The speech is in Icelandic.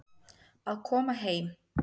Að koma heim